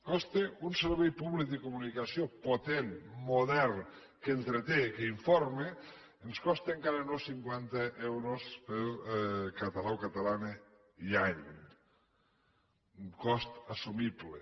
bé un servei públic de comunicació potent modern que entreté que informa ens costa encara no cinquanta euros per català o catalana i any un cost assumible